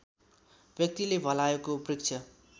व्यक्तिले भलायोको वृक्षको